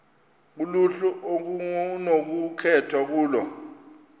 kuluhlu okunokukhethwa kulo